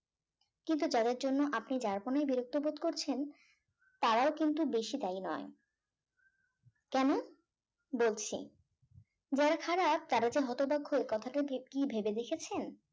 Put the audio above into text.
কিন্তু যাদের জন্য আপনি যার জন্যই বিরক্ত বোধ করছেন তারাও কিন্তু বেশি দায়ী নয় কেন বলছি যারা খারাপ তারা হচ্ছে হতভাগ্য কথাটা কি ভেবে দেখেছেন